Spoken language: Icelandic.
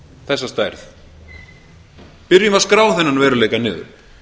þessa stærð byrjum að skrá þennan veruleika niður